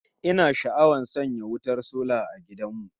Ina sha'awar sanya wutar sola a gidan mu